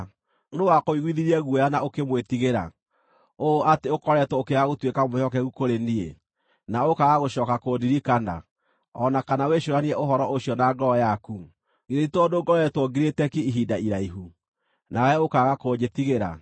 “Nũũ wakũiguithirie guoya na ũkĩmwĩtigĩra, ũũ atĩ ũkoretwo ũkĩaga gũtuĩka mwĩhokeku kũrĩ niĩ, na ũkaaga gũcooka kũndirikana, o na kana wĩcũũranie ũhoro ũcio na ngoro yaku? Githĩ ti tondũ ngoretwo ngirĩte ki ihinda iraihu, nawe ũkaaga kũnjĩtigĩra?